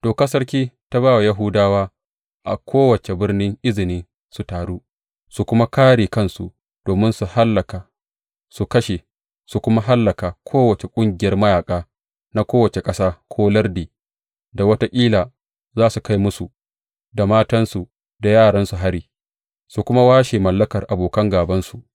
Dokar sarki ta ba wa Yahudawa a kowace birni izini su taru, su kuma kāre kansu, domin su hallaka, su kashe, su kuma hallaka kowace ƙungiyar mayaƙa, na kowace ƙasa, ko lardi, da wataƙila za su kai musu, da matansu, da yaransu hari; su kuma washe mallakar abokan gābansu.